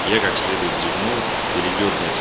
я как следует зевнул передёрнулся